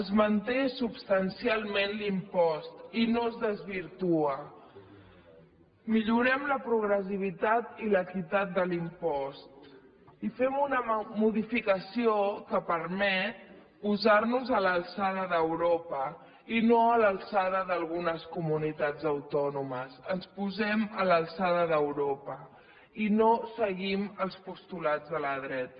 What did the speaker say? es manté substancialment l’impost i no es desvirtua millorem la progressivitat i l’equitat de l’impost i fem una modificació que permet posarnos a l’alçada d’europa i no a l’alçada d’algunes comunitats autònomes ens posem a l’alçada d’europa i no seguim els postulats de la dreta